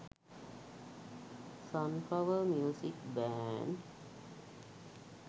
sunflower music band.